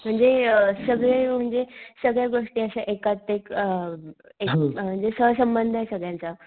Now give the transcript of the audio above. म्हणजे सगळे म्हणजे अ सगळ्या गोष्टी अश्या एकात एक अ अ म्हणजे सहसंबंधये सगळ्यांचा.